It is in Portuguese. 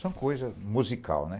São coisas musical, né?